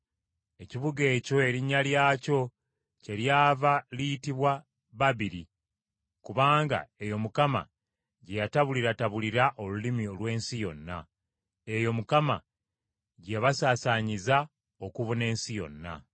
Ekibuga ekyo erinnya lyakyo kye lyava liyitibwa Babiri, kubanga eyo Mukama gye yatabuliratabulira olulimi lw’ensi yonna. Eyo Mukama gye yabasaasaanyiza okubuna ensi yonna.